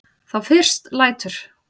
Þá fyrst lætur